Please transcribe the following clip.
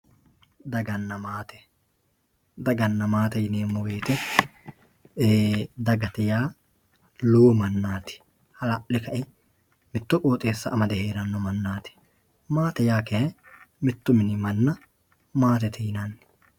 Daganna maate, daganna maatte yineemo woyite dagate yaa lowo manati ha'la'le ka'e mitto qooxxeessa amade heeranno manati, maatte yaa kayi mitu mini mana maattette yinanni.